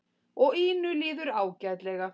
Og Ínu líður ágætlega.